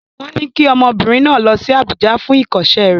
Wọ́n ní kí ọmọbìnrin náà lọ sí Àbújá fún ìkọ́ṣẹ́ rẹ̀.